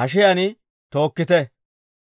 hashiyaan tookkite.